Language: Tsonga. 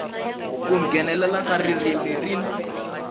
ku nghenelela ka ririmi rin